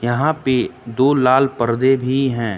यहां पे दो लाल पर्दे भी हैं।